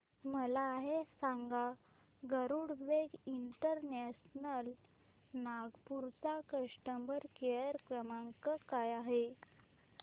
मला हे सांग गरुडवेग इंटरनॅशनल नागपूर चा कस्टमर केअर क्रमांक काय आहे